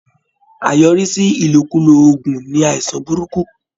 Àyọrísí Ìlòkulò oògùn ni àìsàn burúkú